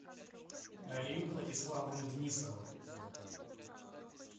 алию владиславовну денисову